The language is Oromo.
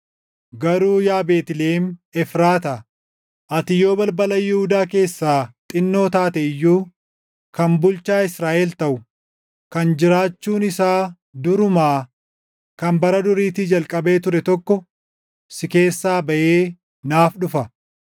“Garuu yaa Beetlihem Efraataa, ati yoo balbala Yihuudaa keessaa xinnoo taate iyyuu, kan bulchaa Israaʼel taʼu, kan jiraachuun isaa durumaa, kan bara duriitii jalqabee ture tokko si keessaa baʼee naaf dhufa.”